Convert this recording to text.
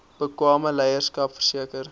bekwame leierskap verseker